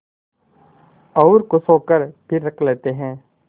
और खुश होकर फिर रख लेते हैं